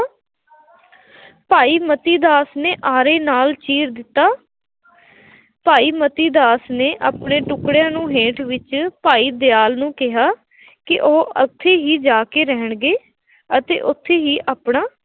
ਭਾਈ ਮਤੀ ਨੇ ਆਰੇ ਨਾਲ ਚੀਰ ਦਿੱਤਾ, ਭਾਈ ਮਤੀ ਦਾਸ ਨੇ ਆਪਣੇ ਟੁੱਕੜਿਆਂ ਨੂੰ ਹੇਠ ਵਿੱਚ, ਭਾਈ ਦਿਆਲ ਨੂੰ ਕਿਹਾ, ਕਿ ਉਹ ਉੱਥੇ ਹੀ ਜਾ ਕੇ ਰਹਿਣਗੇ ਅਤੇ ਉੱਥੇ ਹੀ ਆਪਣਾ